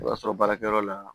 I b'a sɔrɔ baarakɛyɔrɔ la